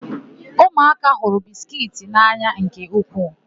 Ụmụaka hụrụ bisikiiti n'anya nke ukwuu.